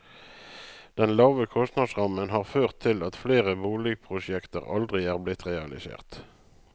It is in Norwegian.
Den lave kostnadsrammen har ført til at flere boligprosjekter aldri er blitt realisert.